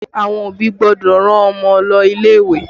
Àwọn òbí gbọ́dọ̀ rán Ọmọ lọ ilé ìwé